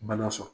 Bana sɔrɔ